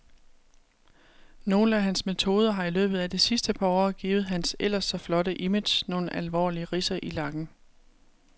Nogle af hans metoder har i løbet af det sidste par år givet hans ellers så flotte image nogle alvorlige ridser i lakken.